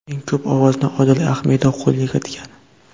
Eng ko‘p ovozni Odil Ahmedov qo‘lga kiritgan.